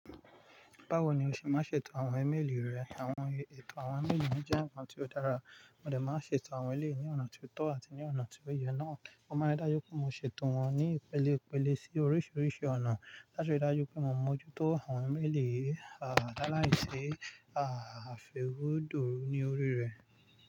Báwo ni o ṣe máa ṣètò àwọn imeéèlì rẹ àwọn ètò àwọn imeéèlì jẹ́ ǹkan tí ó dára, mo dè máa n ṣètò àwọn eleyii ní ọ̀nà tó tọ́ àti ní ọ̀nà tí ó yẹ náà. Mo máa rí dájú pé mo ṣètò wọn ní ìpele ìpele sí oríṣiríṣi ọ̀nà láti rí dájú pé mò mọ́ jú tó àwọn imeéèlì làálàìṣi àfẹ́wẹ́dò ní orí rẹ̀